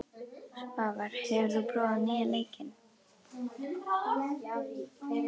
Svavar, hefur þú prófað nýja leikinn?